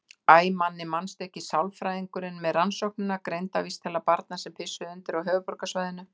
Æ, Manni manstu ekki, sálfræðingurinn með Rannsóknina: Greindarvísitala barna sem pissuðu undir á höfuðborgarsvæðinu.